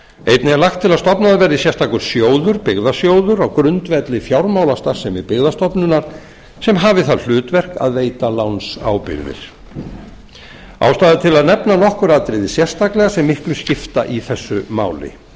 einnig er lagt til að stofnaður verði sérstakur sjóður byggðasjóður á grundvelli fjármálastarfsemi byggðastofnunar sem hafi það hlutverk að veita lánsábyrgðir ástæða er til að nefna nokkur atriði sérstaklega sem miklu skipta í þessu máli